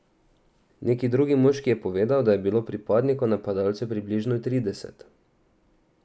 Neki drug moški je povedal, da je bilo pripadnikov napadalcev približno trideset.